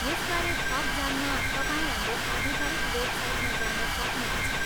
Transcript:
यसबारे थप जान्न तपाईँ हाम्रो आधिकारिक वेबसाइटमा जान सक्नुहुन्छ।